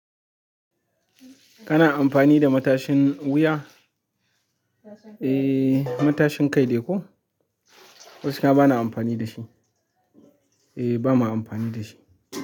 Kana amfani da matashin wuya? Eh, matashin kai dai ko? Gaskiya bana amfani da shi. Eh, ba ma amfani da shi.